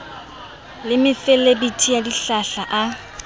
le mefelebithi ya dihlahla a